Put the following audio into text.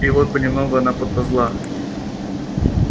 и вот понемногу она подползла